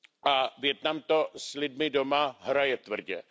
A Vietnam to s lidmi doma hraje tvrdě.